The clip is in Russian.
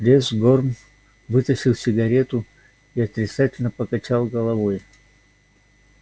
лес горм вытащил сигарету и отрицательно покачал головой